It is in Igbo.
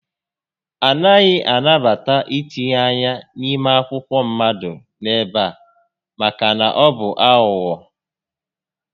A naghị anabata ítínye ányá n'ime akwụkwọ mmadụ n'ebe a maka na ọ bụ aghụghọ